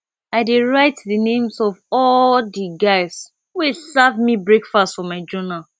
i dey write di names of all di guys wey serve me breakfast for my journal